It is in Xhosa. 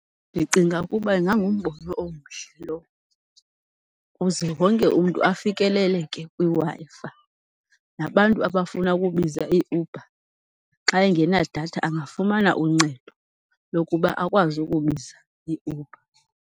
Ndicinga ukuba ingangumbono omhle lo, kuze wonke umntu afikeleleke kwiWi-Fi. Nabantu abafuna ukubiza iUber, xa engenadatha angafumana uncedo lokuba akwazi ukubiza iUber.